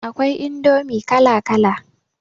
Akwai indomi kala kala